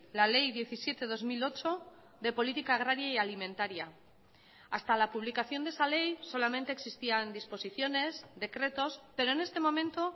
la ley diecisiete barra dos mil ocho de política agraria y alimentaria hasta la publicación de esa ley solamente existían disposiciones decretos pero en este momento